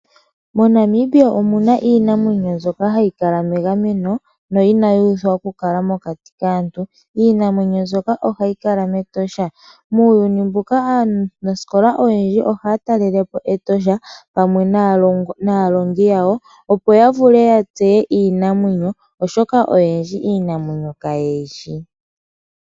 MoNamibia omu na iinamwenyo mbyoka hayi kala megameno no inayi uthwa okukala mokati kaantu. Iinamwenyo mbyoka ohayi kala mEtosha. Muuyuni mbuka aanasikola oyendji ohaya talelepo Etosha pamwe naalongi yawo opo ya vule ya tseye iinamwenyo, oshoka oyendji iinamwenyo kaye yishi.